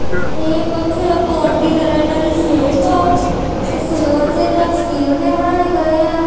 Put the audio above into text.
ਇਹ ਕੁਛ ਪੋਟ ਦੀ ਤਰ੍ਹਾਂ ਇਹਨਾਂ ਦੀ ਸ਼ੇਪ ਆ। ਉਹ ਸਿਲਵਰ ਦੇ ਜਾਂ ਸਟੀਲ ਦੇ ਬਣਾਏ ਗਏ ਆ।